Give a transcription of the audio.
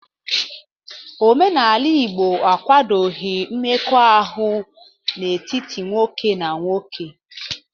Omenala Igbo akwadoghi mmekọahụ n'etiti nwoke na nwoke.